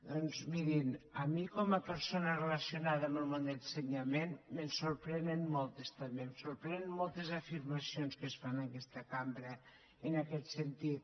doncs mirin a mi com a persona relacionada amb el món de l’ensenyament me’n sorprenen moltes també em sorprenen moltes afirmacions que es fan en aquesta cambra en aquest sentit